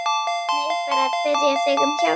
Nei, bara að biðja þig um hjálp.